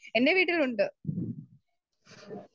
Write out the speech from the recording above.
Speaker 2 എൻ്റെ വീട്ടിലുണ്ട്.